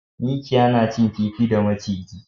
Mikiya na cin kifi da maciji